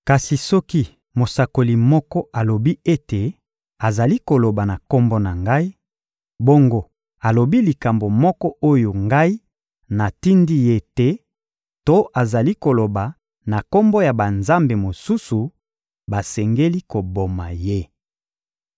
Kasi soki mosakoli moko alobi ete azali koloba na Kombo na Ngai, bongo alobi likambo moko oyo Ngai natindi ye te to azali koloba na kombo ya banzambe mosusu, basengeli koboma ye.